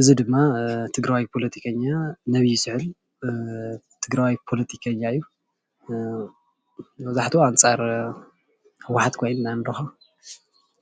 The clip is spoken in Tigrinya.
እዚ ድማ ትግራዋይ ፖለቲከኛ መን ይስዕር ትግራዋይ ፖለቲከኛ እዩ፡፡ መብዛሕትኡ ኣንፃር ህወሓት ኮይኑ ኢና ንረክቦ